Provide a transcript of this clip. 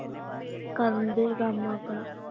ਕਰਨ ਦਐ ਕੰਮ ਆਪਣਾ